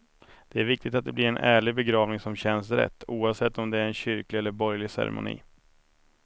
Det är viktigt att det blir en ärlig begravning som känns rätt, oavsett om det är en kyrklig eller borgerlig ceremoni.